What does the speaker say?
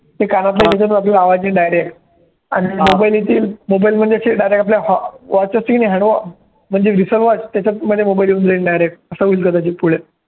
ते कानातल्या त्याच्यातून आपल्याला आवाज येईल direct आणि mobile येतील mobile म्हणजे direct अश्या watch येतील hand watch म्हणजे watch त्याच्यामध्ये mobile येऊन जाईन direct अस होईल कदाचित पुढे